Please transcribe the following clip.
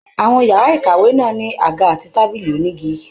Àwọn yàrá ìkàwé náà ní àga àti tábìlì onígi.